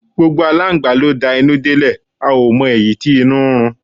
Gbogbo Aláǹgbá ló de inú dé lè a ò mọ èyí tí inú ń run.